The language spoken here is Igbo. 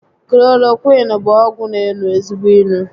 Klorokwịịnu bụ ọgwụ n'enu ezigbo inu